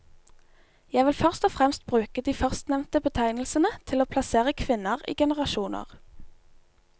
Jeg vil først og fremst bruke de førstnevnte betegnelsene til å plassere kvinner i generasjoner.